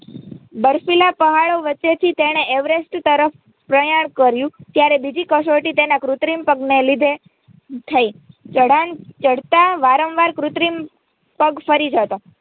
બર્ફીલા પહાડો વચ્ચેથી તેણે એવરેસ્ટ તરફ પ્રયાણ કર્યું ત્યારે બીજી કસોટી તેનાં કુત્રિમ પગને લીધે થઇ ચઢાણ ચઢતા વારંવાર કુત્રિમ પગ ફરી જતો